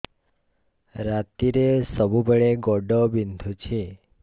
ରାତିରେ ସବୁବେଳେ ଗୋଡ ବିନ୍ଧୁଛି